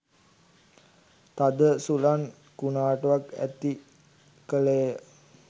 තද සුළං කුණාටුවක් ඇති කළේය.